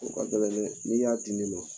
O ka gɛlɛn dɛ! Ni y'a di ne ma